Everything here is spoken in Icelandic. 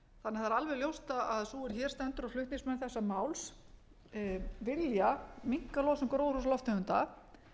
því alveg ljóst að sú er hér stendur og flutningsmenn þessa máls vilja minnka losun gróðurhúsalofttegunda